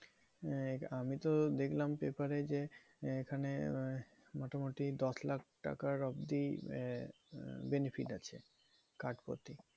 আহ আমিতো দেখলাম paper এ যে, এইখানে আহ মোটামুটি দশ লাখ টাকার অবধি আহ benefit আছে card প্রতি।